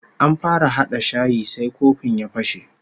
An fara hada shayi sai kofin ya fashe